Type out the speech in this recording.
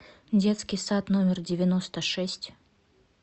детский сад номер девяносто шесть